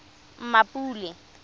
mmapule